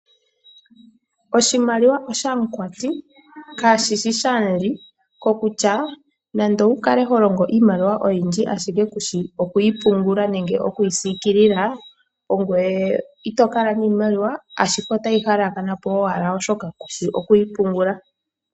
Oshimaliwa oshamukwati, kashishi shamuli. Kokutya, nande owukale holongo iimaliwa oyindji ashike kushi okwiipungula nenge okwiisikilila, ongwee itokala niimaliwa, ashike otayi halakanapo owala oshoka kushi okuyi pungula.